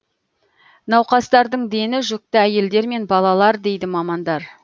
науқастардың дені жүкті әйелдер мен балалар дейді мамандар